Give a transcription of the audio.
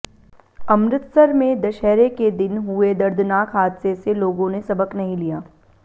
अमृतसर में दशहरे के दिन हुए दर्दनाक हादसे से लोगों ने सबक नहीं लिया